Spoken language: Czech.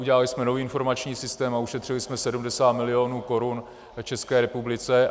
Udělali jsme nový informační systém a ušetřili jsme 70 milionů korun České republice.